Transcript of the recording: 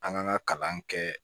An k'an ka kalan kɛ